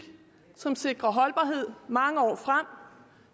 som sikrer holdbarhed mange år frem